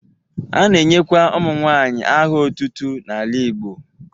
A na-enyekwa ụmụnwaanyị aha otutu n'ala Igbo.